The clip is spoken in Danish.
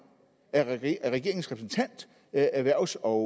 af erhvervs og